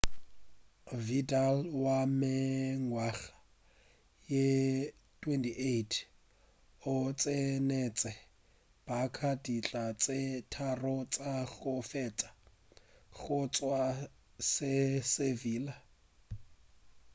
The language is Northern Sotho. vidal wa mengwaga ye 28 o tsenetše barça ditlha tše tharo tša go feta go tšwa go sevilla